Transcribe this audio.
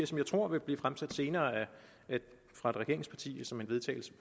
som jeg tror vil blive fremsat senere fra et regeringsparti